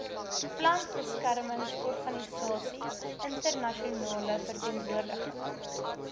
plantbeskermingsorganisasie internasionale verteenwoordiging